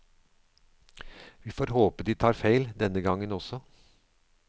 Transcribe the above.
Vi får håpe de tar feil, denne gangen også.